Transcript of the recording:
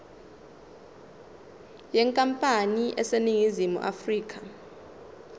yenkampani eseningizimu afrika